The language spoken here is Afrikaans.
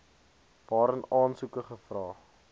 waarin aansoeke gevra